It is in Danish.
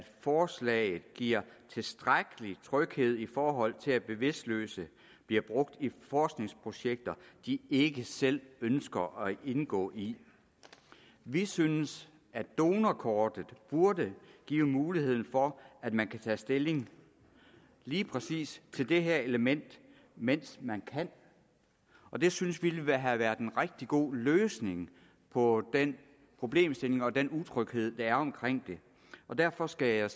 forslaget giver tilstrækkelig tryghed i forhold til at bevidstløse bliver brugt i forskningsprojekter de ikke selv ønsker at indgå i vi synes at donorkortet burde give muligheden for at man kan tage stilling lige præcis til det her element mens man kan og det synes vi ville have været en rigtig god løsning på den problemstilling og den utryghed der er omkring det derfor skal jeg